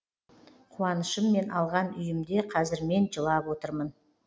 қуанышыммен алған үйімде қазір мен жылап отырмын